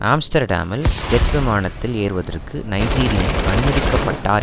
ஆம்ஸ்டர்டாமில் jet விமானத்தில் ஏறுவதற்கு Nigerian அனுமதிக்கபட்டார்